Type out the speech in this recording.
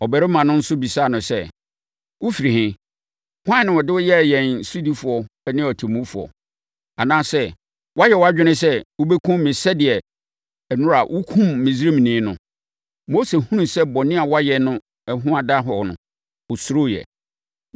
Ɔbarima no nso bisaa no sɛ, “Wofiri he? Hwan na ɔde wo yɛɛ yɛn sodifoɔ ne ɔtemmufoɔ? Anaasɛ woayɛ wʼadwene sɛ wobɛkum me sɛdeɛ nnora wokumm Misraimni no?” Mose hunuu sɛ bɔne a wayɛ no ho ada hɔ no, ɔsuroeɛ.